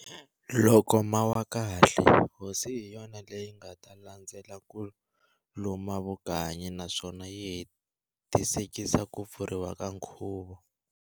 Loko mawa kahle, Hosi hi yona leyi nga ta landzela ku luma vukanyi naswona yi hetisekisa Ku pfuriwa ka nkhuvo.